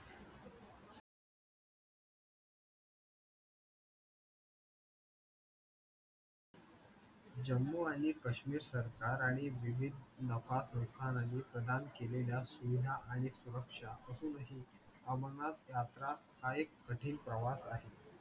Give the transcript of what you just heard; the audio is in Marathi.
जम्मू आणि कश्मीर सरकाराने विविध प्रदान केलेल्या सुविधा आणि सुरक्षा असूनही अमरनाथ यात्रा हा एक कठीण प्रवास आहे.